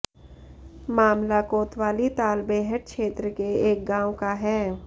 मामला कोतवाली तालबेहट क्षेत्र के एक गांव का है